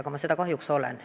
Aga ma seda kahjuks olen.